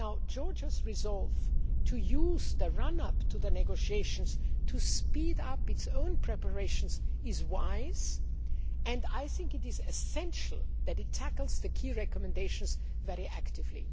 Georgia's resolve to use the run up to the negotiations to speed up its own preparations is wise, and I think it is essential that it tackles the key recommendations very actively.